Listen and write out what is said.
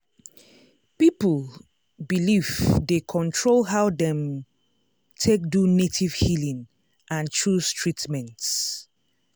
people belief dey control how dem take do native healing and choose treatment.